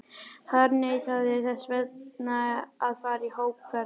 harðneitaðir þess vegna að fara í hópferð!